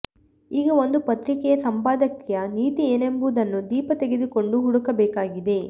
ಈಗ ಒಂದು ಪತ್ರಿಕೆಯ ಸಂಪಾದಕೀಯ ನೀತಿ ಏನೆಂಬುದನ್ನು ದೀಪ ತೆಗೆದುಕೊಂಡು ಹುಡುಕಬೇಕಾಗಿದೆ